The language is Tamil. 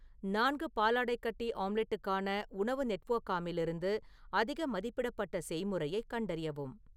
நான்கு பாலாடைக்கட்டி ஆம்லெட்டுக்கான உணவு நெட்வொர்க்காமில் இருந்து அதிக மதிப்பிடப்பட்ட செய்முறையைக் கண்டறியவும்